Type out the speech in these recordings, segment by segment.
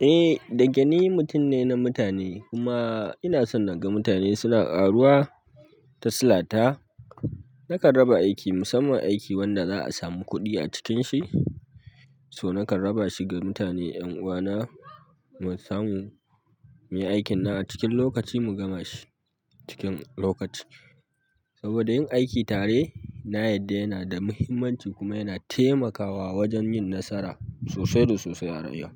Eh, dake ni mutum ne na mutane kuma ina son na ga mutane suna ƙaruwa ta silata. Nakan raba aiki musamman aiki wanda za'a samu kuɗi a cikinshi so nakan raba shi ga mutane, 'yan uwana, mu samu, muyi aikinnan a cikin lokaci mu gama shi cikin lokaci. Saboda yin aiki tare na yadda yana da muhimmanci kuma yana taimakawa wajen yin nasara sosai da sosai a yau.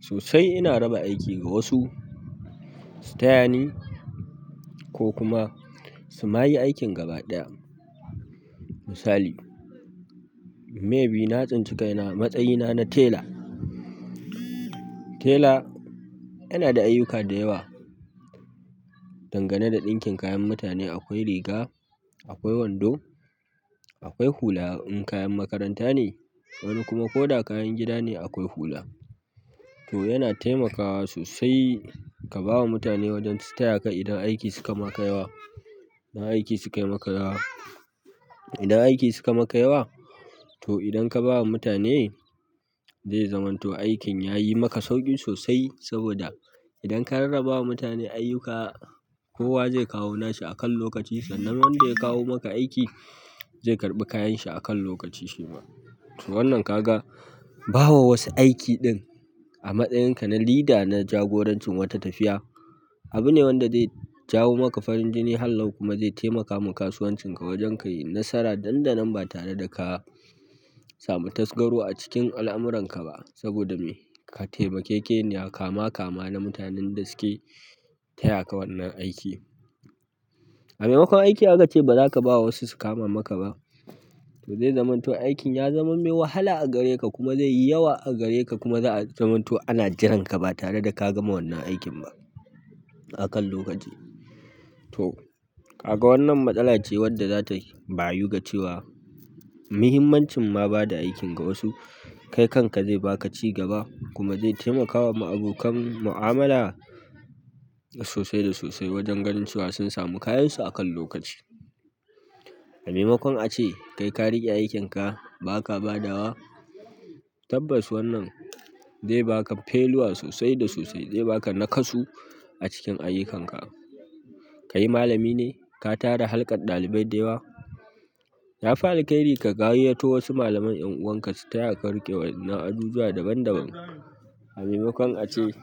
Sosai ina raba aiki ga wasu, su taya ni ko kuma su ma yi aikin gaba ɗaya. Misali, maybe na tsinci kaina a matsayina na tela. Tela yana da ayyuka da yawa. Dangane da ɗinkin kayan mutane, akwai riga, akwai wando, akwai hula in kayan makaranta ne, wani kuma ko da kayan gida ne akwai hula. To yana taimakawa sosai ka ba wa mutane wajen su taya ka idan aiki suka maka yawa. Idan aiki sukai maka yawa. Idan aiki sukai maka yawa, to idan ka ba wa mutane, zai zamanto aikin ya yi maka sauƙin sosai saboda idan ka rarraba wa mutane ayyuka, kowa zai kawo nashi a kan lokaci sannan wanda ya kawo maka aiki zai karɓi kayan shi a kan lokaci shi ma. To wannan ka ga, ba wa wasu aiki ɗin a matsayinka na leader na jagoranci wata tafiya, abine wanda zai jawo maka farinjini hallau kuma zai taimakawa kasuwancinka wajen kayi nasara dan danan ba tare da ka samu tasgaro a cikin al'amuranka ba saboda me? Ka taimakekeniya kama kama na mutanen da suke taya ka wannan aiki. Amaimakon aiki aka ce ba za ka ba wa wasu su kama maka ba, to zai zamanto aikin ya zama me wahala a gare ka kuma zai yi yawa a gare ka kuma za a zamanto ana jiran ka ba tare da ka gama wannan aikin ba a kan lokaci. To, ka ga wannan matsala ce wadda zata bayu ga cewa muhimmancin ma ba da aikin ga wasu, kai kanka zai baka ci gaba kuma zai taimakawa ma abokan mu'amala sosai da sosai wajen ganin cewa sun samu kayansu a kan lokaci. Amaimakon a ce kai ka riƙe aikinka ba ka badawa, tabbas wannan zai baka failure sosai da sosai, zai baka naƙasu a cikin ayyukanka. Kai malami ne, ka tara halƙar ɗalibai da yawa, yafi alkairi ka gayyato wasu malaman 'yan'uwanka su taya ka riƙe waʼyannan ajujuwa daban daban. Amaimakon a ce.